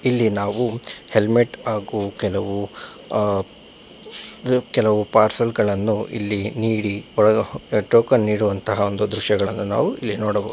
ಇಲ್ಲಿ ನಾವು ಹೆಲ್ಮೆಟ್ ಹಾಗು ಕೆಲವು ಆ ಕೆಲವು ಪಾರ್ಸಲ್ ಗಳನ್ನು ಇಲ್ಲಿ ನೀಡಿ ಒಳಗೆ ಟೋಕನ್ ನೀಡುವಂತಹ ಒಂದು ದೃಶ್ಯಗಳನ್ನು ಇಲ್ಲಿ ನಾವು ನೋಡಬಹು --